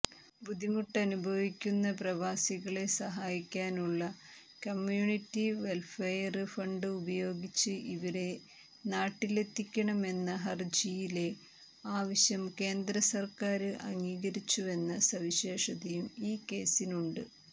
ബുദ്ധിമുട്ടനുഭവിക്കുന്ന പ്രവാസികളെ സഹായിക്കാനുള്ള community welfare fund ഉപയോഗിച്ച് ഇവരെ നാട്ടിലെത്തിക്കണമെന്ന ഹരജിയിലെ ആവശ്യംകേന്ദ്ര സര്ക്കാര് അംഗീകരിച്ചുവെന്ന സവിശേഷതയും ഈ കേസിനുണ്ട്